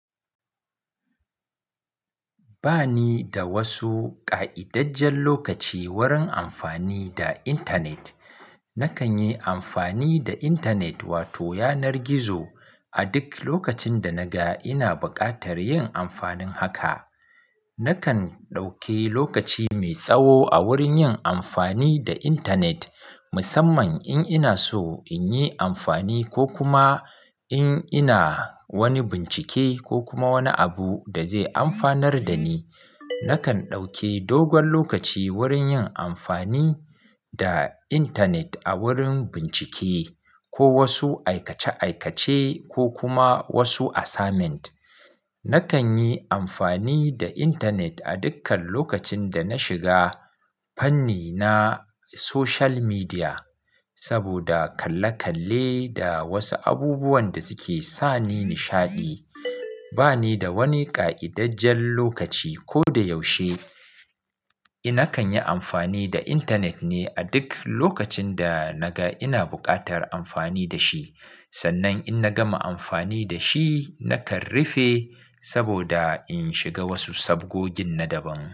Ba ni da wasu ƙa'idajjen lokaci wurin amfani da intanet. Nakan yi amfani da intanet wato yanar gizo a duk lokacin da naga ina buƙatar yin amfanin haka. Nakan ɗauke lokaci mai tsawo a wurin yin amfani da internet musamman in ina so in yi amfani ko kuma in ina wani bincike ko kuma wani abu da zai amfanar da ni. Nakan ɗauke dogon lokaci wurin yin amfani da intanet a wurin bincike ko wasu aikace-aikace ko kuma wasu assignment. Nakan yi amfani da intanet a dukkan lokacin da na shiga fanni na social media saboda kalle-kalle da wasu abubuwan da suke sani nishaɗi. Ba ni da wani ƙa'idajjen lokaci ko da yaushe. Nakan yi amfani da intanet ne a duk lokacin da naga ina buƙatar amfani da shi. Sannan in na gama amfani da shi nakan rufe saboda in shiga wasu sabgogin na daban.